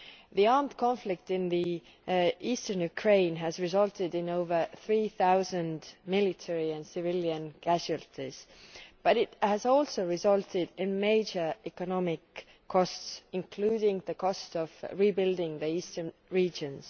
The armed conflict in the eastern Ukraine has resulted in over 3000 military and civilian casualties, but it has also resulted in major economic costs, including the cost of rebuilding the eastern regions.